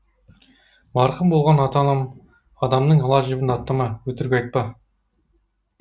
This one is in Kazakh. марқұм болған ата анам адамның ала жібін аттама өтірік айтпа